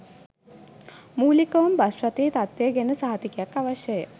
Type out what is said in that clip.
මූලිකවම bus රථයේ තත්වය ගැන සහතිකයක් අවශ්‍යය.